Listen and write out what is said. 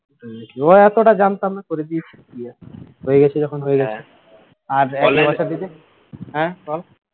ওই এতটা জানতাম না করে দিয়েছি দিয়ে হয়ে গেছে যখন হয়ে গেছে আর হ্যাঁ কও